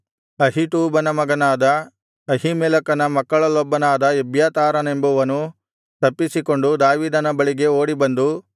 ಅಹೀಟೂಬನ ಮಗನಾದ ಅಹೀಮೆಲೆಕನ ಮಕ್ಕಳಲ್ಲೊಬ್ಬನಾದ ಎಬ್ಯಾತಾರನೆಂಬುವನು ತಪ್ಪಿಸಿಕೊಂಡು ದಾವೀದನ ಬಳಿಗೆ ಓಡಿಬಂದು